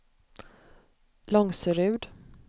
Långserud